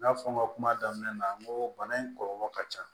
N y'a fɔ n ka kuma daminɛ na n ko bana in kɔlɔlɔ ka ca